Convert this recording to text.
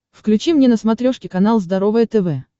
включи мне на смотрешке канал здоровое тв